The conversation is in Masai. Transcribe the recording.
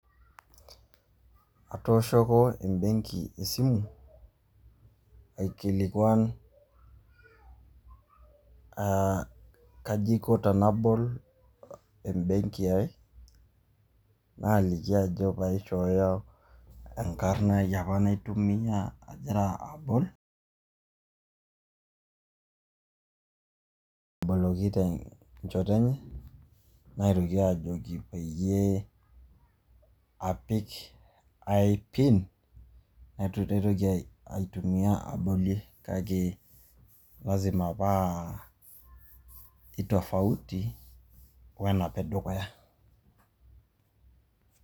Atowoshoki ebenki esimu aikilikuan, aa kaji Aiko tenabol ebenki aii, naaliki ajo paishoyo enkarna aii apa naitumia agira abol, naaboloki tenchoto enye naitoki aajoki peyie apik ae personal identification number naitoki aitumiya abolie kake lasima paa eitofauto wenapa edukuya.